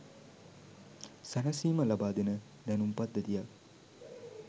සැනසීම ලබා දෙන දැනුම් පද්ධතියක්